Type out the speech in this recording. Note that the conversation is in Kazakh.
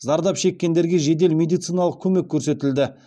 зардап шеккендерге жедел медициналық көмек көрсетілді